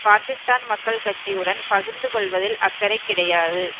பாக்கிஸ்தான் மக்கள் கட்சியுடன் பகிர்ந்து கொள்ளுவதில் அக்கறை கிடையாது